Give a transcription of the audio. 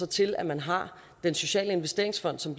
til at man har den sociale investeringsfond som